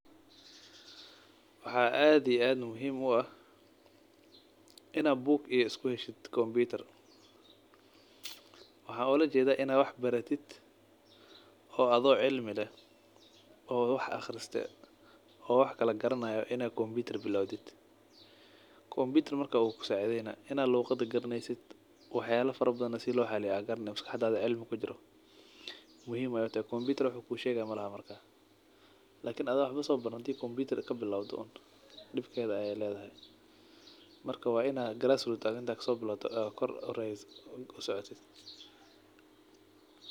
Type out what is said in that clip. Maxaa ad iyo ad muhim u ahinaa bug iyo iskuheshid kompyutar, waxaan ulajedaah in ad wax baratid oo adoo cilmi leh oo wax qriste oo wax kalagaranayo in kompyutar haysto , kompyutar uu kucawinaah markas wax uu kushegay malaha markas kompyutar waayo wafahansantahay sida lo isticmali lahaa , lakin adoo wax sobaranin kompyutar iskabilawdo dibkedha ay ledahay, markaa wa in aa class root aa kasobilawdid kor usocoto.